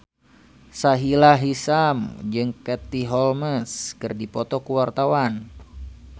Sahila Hisyam jeung Katie Holmes keur dipoto ku wartawan